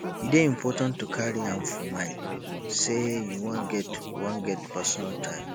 e dey important to carry am for mind sey you wan get wan get personal time